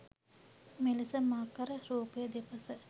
මෙලෙස මකර රූපය දෙපස